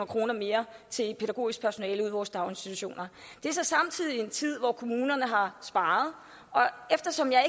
kroner mere til pædagogisk personale ude i vores daginstitutioner det er så samtidig sket i en tid hvor kommunerne har sparet og eftersom jeg